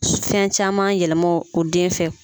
Fɛn caman yɛlɛma o den fɛ.